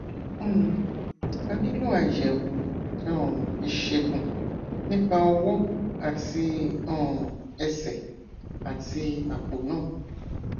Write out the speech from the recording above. um a nílò àyẹwò um ìṣègùn nípa ọwọ àti um ẹsẹ àti àpò náà